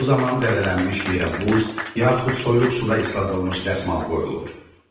Bu zaman zədələnmiş yerə buz, yaxud soyuq suda isladılmış dəsmal qoyulur.